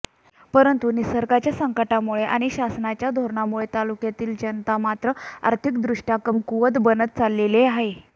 परंतु निसर्गाच्या संकटामुळे आणि शासनाच्या धोरणामुळे तालुक्यातील जनता मात्र आर्थिकदृष्ट्या कमकुवत बनत चाललेले आहे